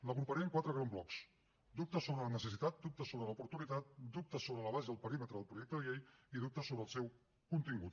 l’agruparé en quatre grans blocs dubtes sobre la necessitat dubtes sobre l’oportunitat dubtes sobre l’abast i el perímetre del projecte de llei i dubtes sobre el seu contingut